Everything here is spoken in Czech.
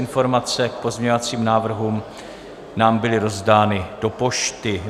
Informace k pozměňovacím návrhům nám byly rozdány do pošty.